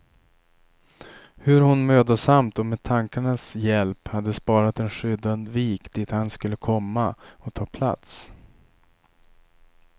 Hur hon mödosamt och med tankarnas hjälp hade sparat en skyddad vik dit han skulle komma och ta plats.